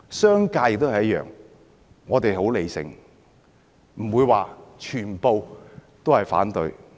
商界也一樣，我們很理性，不會全部都反對。